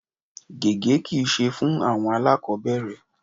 Gege kí i ṣe fún àwọn alakobere.